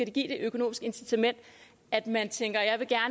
give det økonomiske incitament at man tænker